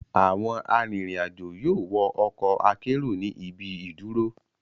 Awọn arinrin-ajo yoo wọ ọkọ akero ni ibi iduro